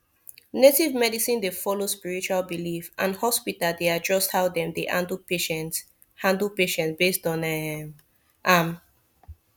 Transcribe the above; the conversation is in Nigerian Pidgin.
native medicine dey follow spiritual belief and hospital dey adjust how dem dey handle patient handle patient based on um am